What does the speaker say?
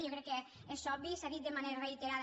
jo crec que és obvi s’ha dit de manera reiterada